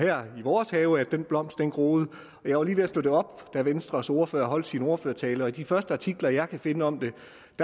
er i vores have at den blomst er groet jeg var lige ved at slå det op da venstres ordfører holdt sin ordførertale i de første artikler jeg kan finde om det